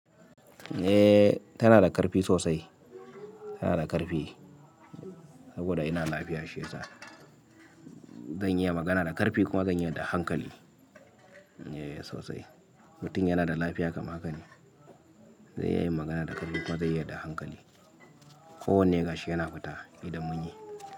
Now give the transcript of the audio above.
Eh, tana da ƙarfi sosai, tana da ƙarfi saboda yana lafiya shi yasa. Zan iya magana da ƙarfi kuma zan iya da hankali. Eh sosai, mutum yana da lafiya kamar haka ne. Zai iya yin magana da ƙarfi kuma zai iya da hankali. Ko wane gashi yana fita idan mun yi.